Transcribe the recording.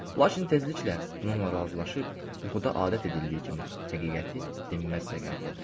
Lakin tezliklə bununla razılaşıb, yuxuda adət edildiyi kimi həqiqəti dinməzcə qəbul edirəm.